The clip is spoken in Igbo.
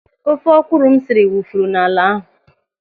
Ofe ọkwụrụ m siri wụfuru n'ala ahụ.